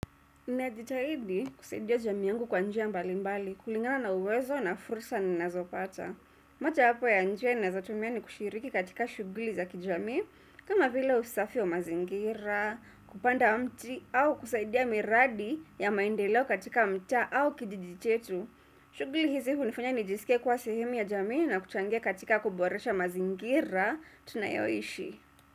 Ninajitahidi kusaidia jamii yangu kwa njia mbali mbali, kulingana na uwezo na fursa ninazopata. Mojayapo ya njia ninazotumia ni kushiriki katika shuguli za kijami kama vila usafi wa mazingira, kupanda mti au kusaidia miradi ya maendeleo katika mtaa au kijiji chetu. Shuguli hizi hunifanya nijisike kuwa sehemu ya jamii na kuchangia katika kuboresha mazingira tunayoishi.